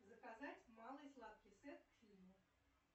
заказать малый сладкий сет к фильму